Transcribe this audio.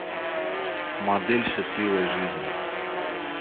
модель счастливой жизни